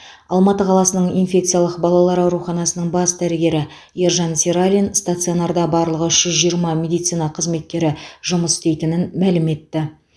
алматы қаласының инфекциялық балалар ауруханасының бас дәрігері ержан сералин стационарда барлығы үш жүз жиырма медицина қызметкері жұмыс істейтінін мәлім етті